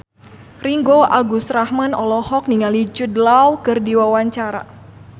Ringgo Agus Rahman olohok ningali Jude Law keur diwawancara